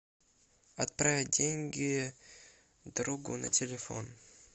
отправить деньги другу на телефон